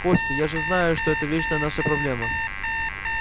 костя я же знаю что это вечна ваша проблема